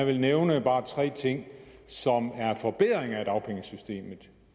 vil nævne bare tre ting som er forbedringer af dagpengesystemet